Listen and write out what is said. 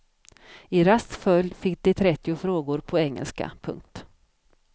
I rask följd fick de trettio frågor på engelska. punkt